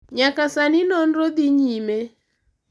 Nyaka sani nonro dhi nyime.